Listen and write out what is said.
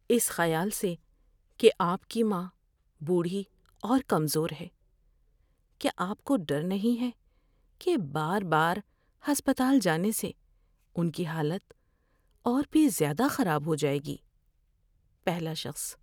اس خیال سے کہ آپ کی ماں بوڑھی اور کمزور ہے، کیا آپ کو ڈر نہیں ہے کہ بار بار ہسپتال جانے سے ان کی حالت اور بھی زیادہ خراب ہو جائے گی؟ (پہلا شخص)